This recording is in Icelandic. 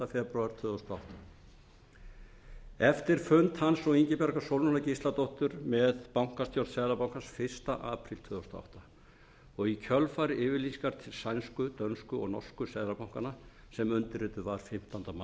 febrúar tvö þúsund og átta eftir fund hans og ingibjargar sólrúnar gísladóttur með bankastjórn seðlabankans fyrsta apríl tvö þúsund og átta og í kjölfar yfirlýsingar sænsku dönsku og norsku seðlabankanna sem undirrituð var fimmtánda maí